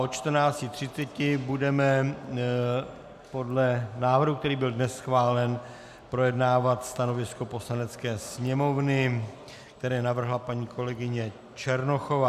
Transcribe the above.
Od 14.30 budeme podle návrhu, který byl dnes schválen, projednávat stanovisko Poslanecké sněmovny, které navrhla paní kolegyně Černochová.